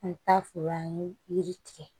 An bɛ taa foro an ye yiri tigɛ